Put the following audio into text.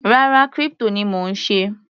Rárá, crypto ni mò ń ṣe.